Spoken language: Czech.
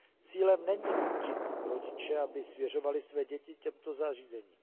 Cílem není nutit rodiče, aby svěřovali své děti těmto zařízením.